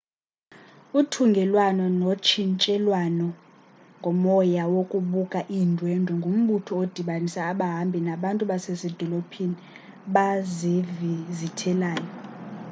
uthungelwano lotshintshiselwano ngomoya wokubuka iindwendwe ngumbutho odibanisa abahambi nabantu basezidolophini bazivizithelayo